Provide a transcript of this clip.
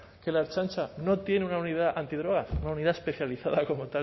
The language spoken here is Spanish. que la ertzaintza no tiene una unidad antidroga una unidad especializada como